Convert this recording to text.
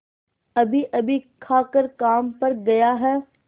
अभीअभी खाकर काम पर गया है